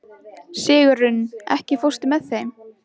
Sigurunn, ekki fórstu með þeim?